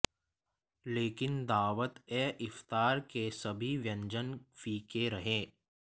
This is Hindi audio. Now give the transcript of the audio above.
लेकिन दावत ए इफ्तार के सभी व्यंजन फीके रहे